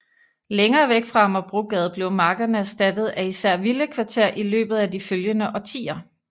Længere væk fra Amagerbrogade blev markerne erstattet af især villakvarter i løbet af de følgende årtier